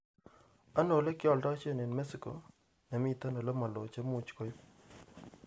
Ano olegialdoishen eng mexiko nemiten olemaloo chemuuch keiip